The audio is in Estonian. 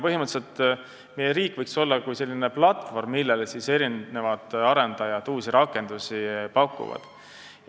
Põhimõtteliselt võiks meie riik olla nagu selline platvorm, millele arendajad pakuvad uusi rakendusi.